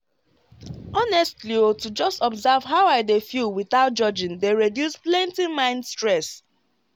honestly o to just observe how i dey feel without judging dey reduce plenty mind stress.